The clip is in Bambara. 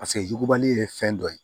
Paseke yugubali ye fɛn dɔ ye